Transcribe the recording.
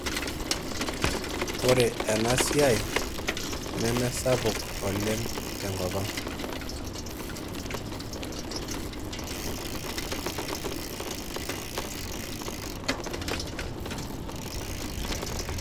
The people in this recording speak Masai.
Ore ena siai nemesapu oleng' tenkopang.